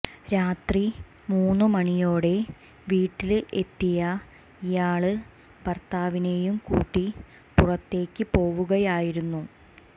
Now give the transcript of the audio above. രാത്രി മൂന്നു മണിയോടെ വീട്ടില് എത്തിയ ഇയാള് ഭര്ത്താവിനെയും കൂട്ടി പുറത്തേക്ക് പോവുകയായിരുന്നു